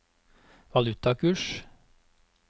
valutakurs